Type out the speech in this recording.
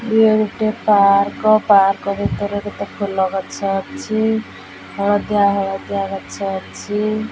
ଇଏ ଗୋଟେ park park ଭିତରେ କେତେ ଫୁଲ ଗଛ ଅଛି ହଳଦିଆ ହଳଦିଆ ଗଛ ଅଛି।